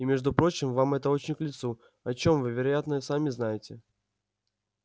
и между прочим вам это очень к лицу о чём вы вероятно сами знаете